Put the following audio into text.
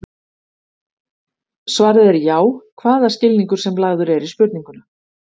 Svarið er já, hvaða skilningur sem lagður er í spurninguna.